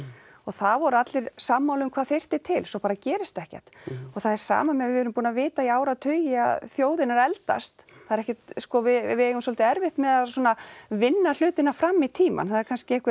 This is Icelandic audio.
og það voru allir sammála um hvað þyrfti til svo bara gerist ekkert og það er sama með að við erum búin að vita í áratugi að þjóðin er að eldast það er ekkert sko við eigum svolítið erfitt með að svona vinna hlutina fram í tímann það er kannski einhver